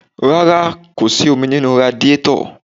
Rárá, kò sì omi nínú radíetọ̀.